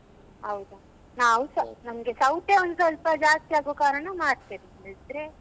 ಹೌದಾ ನಾವುಸಾ ನಮ್ಗೆ ಸೌತೆ ಒಂದು ಸ್ವಲ್ಪ ಜಾಸ್ತಿ ಆಗುವ ಕಾರಣ ಮಾರ್ತೇವೆ ಬಿಟ್ಟ್ರೆ.